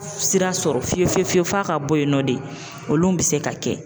Sira sɔrɔ fiye fiye fiyewu f'a ka bɔ yen nɔ de olu bi se ka kɛ.